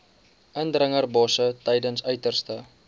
indringerbosse tydens uiterste